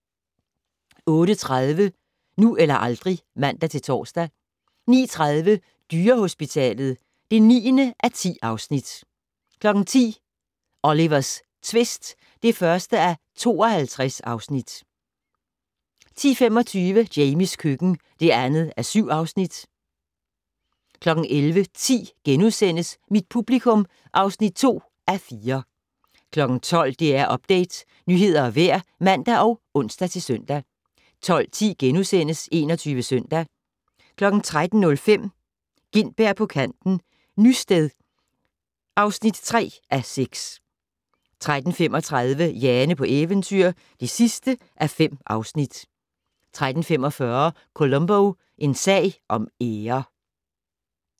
08:30: Nu eller aldrig (man-tor) 09:30: Dyrehospitalet (9:10) 10:00: Olivers tvist (1:52) 10:25: Jamies køkken (2:7) 11:10: Mit publikum (2:4)* 12:00: DR Update - nyheder og vejr (man og ons-søn) 12:10: 21 Søndag * 13:05: Gintberg på kanten - Nysted (3:6) 13:35: Jane på eventyr (5:5) 13:45: Columbo: En sag om ære